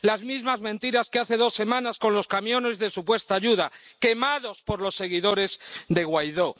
Las mismas mentiras que hace dos semanas con los camiones de supuesta ayuda —quemados por los seguidores de Guaidó—.